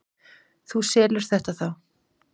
Þú selur þetta þá?